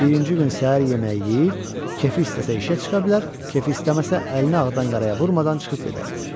Birinci gün səhər yeməyi yeyib, kefi istəsə işə çıxa bilər, kefi istəməsə əlini ağdan qaraya vurmadan çıxıb gedər.